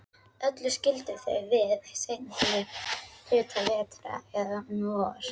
Öll skildu þau við seinni hluta vetrar, eða um vor.